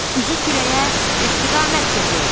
Üzü küləyə istiqamət götür.